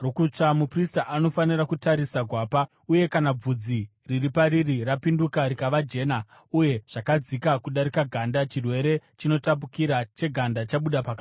muprista anofanira kutarisa gwapa uye kana bvudzi riri pariri rapinduka rikava jena uye zvakadzika kudarika ganda, chirwere chinotapukira cheganda chabuda pakatsva.